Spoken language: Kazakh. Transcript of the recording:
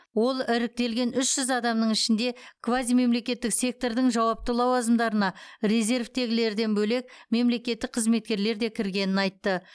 ол іріктелген үш жүз адамның ішінде квазимемлекеттік сектордың жауапты лауазымдарына резервтегілерден бөлек мемлекеттік қызметкерлер де кіргенін айтты